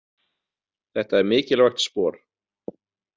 Þetta er mikilvægt spor.